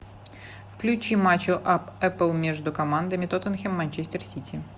включи матч апл между командами тоттенхэм манчестер сити